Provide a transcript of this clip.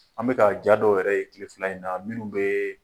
An bɛ ka ja dɔw yɛrɛ ye tile fila in na minnu bɛɛɛ